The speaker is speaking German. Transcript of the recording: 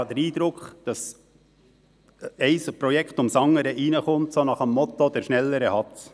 Ich habe den Eindruck, dass ein Projekt nach dem anderen hereinkommt, so nach dem Motto: «Der Schnellere hat‘s».